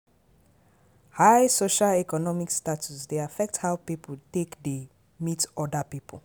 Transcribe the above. High social economic status dey affect how pipo take dey meet oda pipo